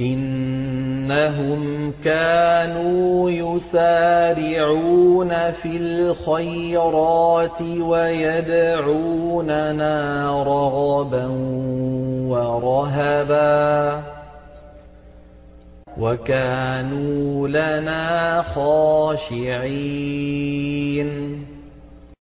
إِنَّهُمْ كَانُوا يُسَارِعُونَ فِي الْخَيْرَاتِ وَيَدْعُونَنَا رَغَبًا وَرَهَبًا ۖ وَكَانُوا لَنَا خَاشِعِينَ